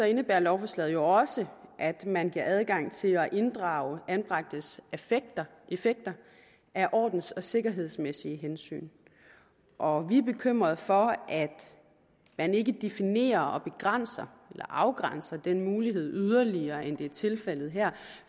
indebærer lovforslaget jo også at man giver adgang til at inddrage anbragtes effekter af ordens og sikkerhedsmæssige hensyn og vi er bekymret for at man ikke definerer og begrænser eller afgrænser den mulighed yderligere end det er tilfældet her